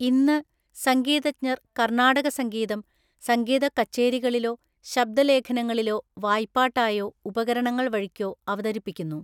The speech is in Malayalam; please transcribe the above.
ഇന്ന്, സംഗീതജ്ഞർ കർണാടക സംഗീതം സംഗീത കച്ചേരികളിലോ ശബ്ദലേഖനങ്ങളിലോ വായ്പ്പാട്ടായോ ഉപകരണങ്ങള്‍ വഴിക്കോ അവതരിപ്പിക്കുന്നു,